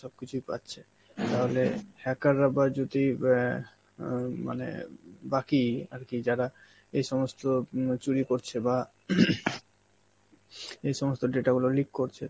সব কিছুই পাচ্ছে. তাহলে hacker রা বা যদি অ্যাঁ উম মানে বাকি আর কি যারা এই সমস্ত উম চুরি করছে বা এই সমস্ত data গুলো leak করছে,